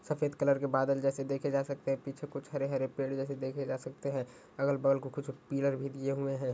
सफ़ेद कलर के बादल जैसे देखे जा सकते हैं पीछे कुछ हरे हरे पेड़ जैसे देखे जा सकते है अगल बगल को कुछ पिलर भी दिए हुए हैं।